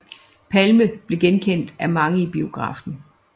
Palme blev genkendt af mange i biografen